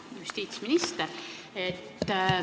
Hea justiitsminister!